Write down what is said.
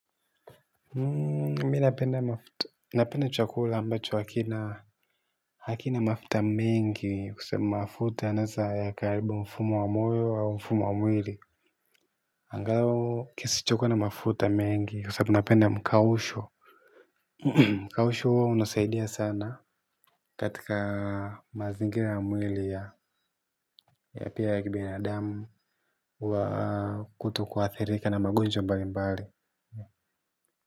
Mi napenda chukula ambacho hakina hakina mafuta mengi kusema mafuta anasa ya karibu mfumo wa moyo au mfumo wa mwili. Angalau kisicho kuwa na mafuta mingi kwa sababu napenda mkausho. Mkausho huwa unasaidia sana katika mazingira ya mwili ya pia ya kibinadamu huwa kutokuathirika na magonjwa mbalimbali.